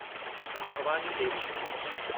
Bhavani Devi